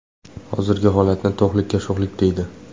Hozirgi holatni to‘qlikka sho‘xlik, deydi.